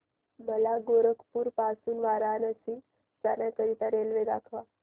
मला गोरखपुर पासून वाराणसी जाण्या करीता रेल्वे दाखवा